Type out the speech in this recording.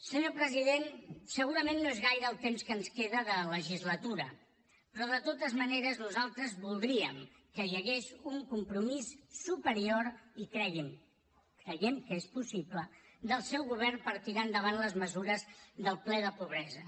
senyor president segurament no és gaire el temps que ens queda de legislatura però de totes maneres nosaltres voldríem que hi hagués un compromís superior i cregui’m creiem que és possible del seu govern per tirar endavant les mesures del ple de pobresa